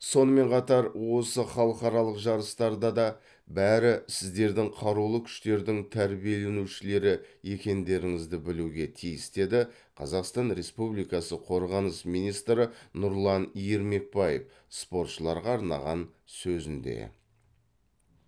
сонымен қатар осы халықаралық жарыстарда да бәрі сіздердің қарулы күштердің тәрбиеленушілері екендеріңізді білуге тиіс деді қазақстан республикасы қорғаныс министрі нұрлан ермекбаев спортшыларға арнаған сөзінде